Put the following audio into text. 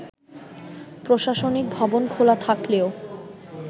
প্রশাসনিক ভবন খোলা থাকলেও